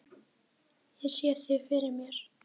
Ég sé þig fyrir mér.